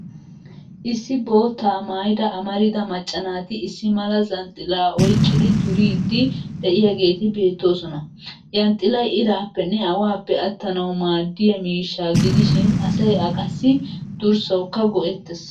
Issi boottaa maayida amarida macca naati issi mala zhanxxilaa oyqqidi duriiddi de'iyaageeti beettoosona. Yanxxilay iraappenne awaappe attanawu maaddiya miishshaa gidishin asay a qassi durssawukka go'ettes.